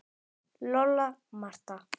Lolla, Marta